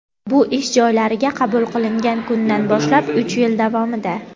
bu ish joylariga qabul qilingan kundan boshlab uch yil davomida.